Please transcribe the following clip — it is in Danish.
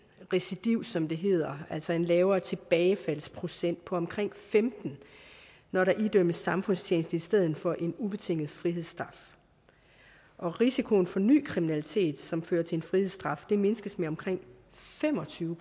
recidiv som det hedder altså en lavere tilbagefaldsprocent på omkring femten når der idømmes samfundstjeneste i stedet for en ubetinget frihedsstraf risikoen for ny kriminalitet som fører til en frihedsstraf mindskes med omkring fem og tyve